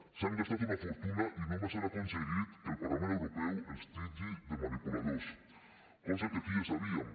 s’han gastat una fortuna i només han aconseguit que el parlament europeu els titlli de manipuladors cosa que aquí ja sabíem